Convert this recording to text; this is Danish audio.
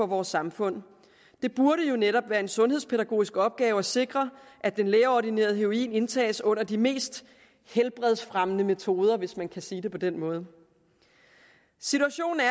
vores samfund det burde jo netop være en sundhedspædagogisk opgave at sikre at den lægeordinerede heroin indtages under de mest helbredsfremmende metoder hvis man kan sige det på den måde situationen er